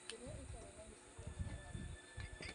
Ndĩngĩrĩa ĩtarĩ na gĩcĩko ũmũthĩ.